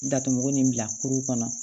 Datugu nin bila kuru kɔnɔ